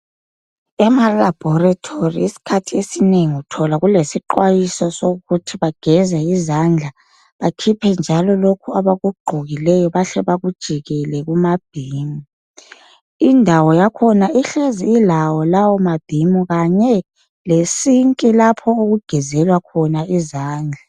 Ema laboratory isikhathi esinengi uthola kulesixwayiso sokuthi bageze izandla bakhiphe njalo lokho abakugqokileyo bahle bakujikele kuma bin , indawo yakhona uhlezi ilawo lawo mabin kanye le sink lapho okugezelwa khona izandla